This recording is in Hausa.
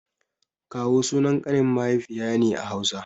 Kawu sunan ƙanin mahaifiya ne a Hausa.